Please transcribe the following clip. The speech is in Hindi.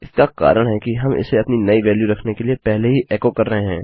इसका कारण है कि हम इसे अपनी नई वेल्यू रखने से पहले ही एको कर रहे हैं